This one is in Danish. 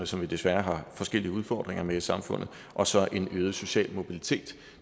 som vi desværre har forskellige udfordringer med i samfundet og så er det en øget social mobilitet